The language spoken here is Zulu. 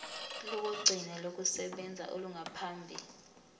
lokugcina lokusebenza olungaphambi